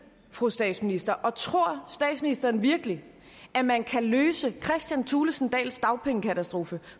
fru statsminister og tror statsministeren virkelig at man kan løse kristian thulesen dahls dagpengekatastrofe